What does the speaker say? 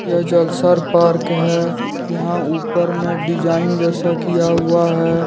जलसर park है यहां ऊपर में डिजाइन जैसा किया हुआ है।